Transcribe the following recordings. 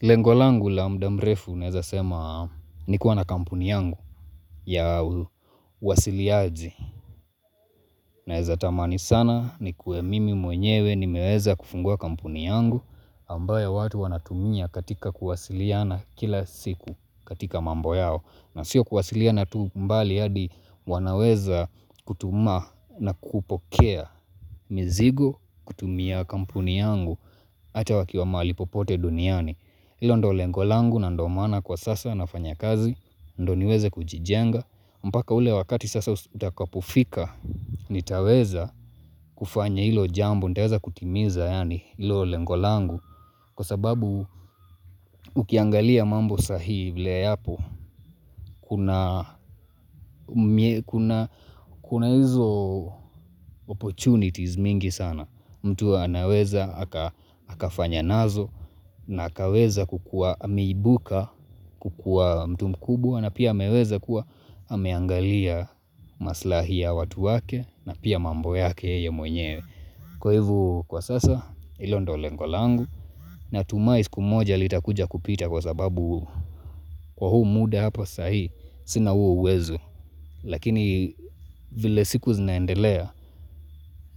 Lengo langu la muda mrefu naeza sema ni kuwa na kampuni yangu ya uwasiliaji. Naeza tamani sana nikuwe mimi mwenyewe nimeweza kufungua kampuni yangu ambayo watu wanatumia katika kuwasiliana kila siku katika mambo yao. Na sio kuwasilia na tu bali hadi wanaweza kutuma na kupokea mizigo kutumia kampuni yangu Ata wakiwa mahali popote duniani ilo ndio lengo langu na ndo maana kwa sasa nafanya kazi ndio niweze kujijenga mpaka ule wakati sasa utakapofika nitaweza kufanya ilo jambo ntaweza kutimiza yaani ilo lengo langu Kwa sababu ukiangalia mambo sahii vile yapo kuna kuna hizo opportunities mingi sana mtu anaweza akafanya nazo na akaweza kukua ameibuka kukua mtu mkubwa na pia hameweza kuwa ameangalia maslahi ya watu wake na pia mambo yake yeye mwenyewe. Kwa hivo kwa sasa ilo ndio lengo langu natumai siku moja litakuja kupita kwa sababu kwa huu muda hapa sahii sina huo uwezo lakini vile siku zinaendelea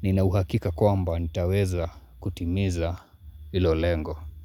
nina uhakika kwamba nitaweza kutimiza ilo lengo.